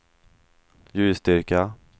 ljusstyrka